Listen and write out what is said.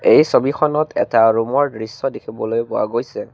এই ছবিখনত এটা ৰুম ৰ দৃশ্য দেখিবলৈ পোৱা গৈছে।